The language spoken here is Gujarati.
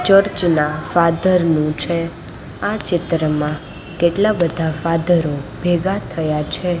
ચર્ચ ના ફાધર નું છે આ ચિત્રમાં કેટલા બધા ફાધરો ભેગા થયા છે.